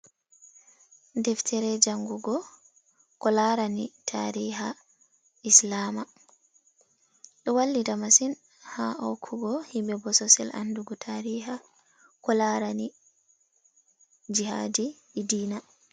Deftere jangugo ko larani tariha Islamia, ɗo wallita masin ha hokugo himɓe bososel andugo tariha ko larani jihadi e dina.